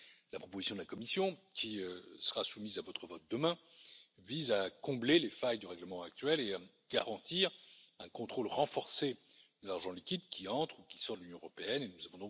La proposition de la Commission qui sera soumise à votre vote demain vise à combler les failles du règlement actuel et à garantir un contrôle renforcé de l'argent liquide qui entre dans l'Union européenne ou qui en sort.